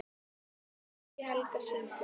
Siggi Helga: Syngur?